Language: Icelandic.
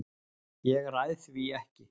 Ég ræð því ekki.